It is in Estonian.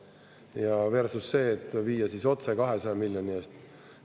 Ja versus see, et viia otse 200 miljoni eest.